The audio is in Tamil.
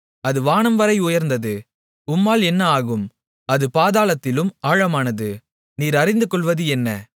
அது வானம்வரை உயர்ந்தது உம்மால் என்ன ஆகும் அது பாதாளத்திலும் ஆழமானது நீர் அறிந்து கொள்வது என்ன